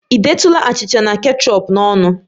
Ị detụla achịcha na kechọp n'ọnụ?